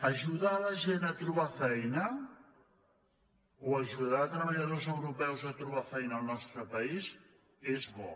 ajudar la gent a trobar feina o aju·dar treballadors europeus a trobar feina al nostre país és bo